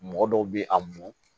Mɔgɔ dɔw bɛ a mɔ